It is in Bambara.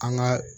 An ka